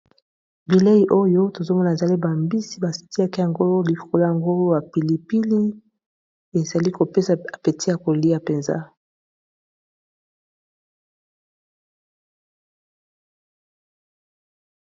Bilei oyo tozomona, ezali bambisi ba tiaka yango likolo yango ba pilipili. Ezali kopesa apeti ya kolia mpenza.